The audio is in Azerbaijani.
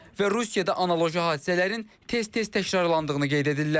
Və Rusiyada analoji hadisələrin tez-tez təkrarlandığını qeyd edirlər.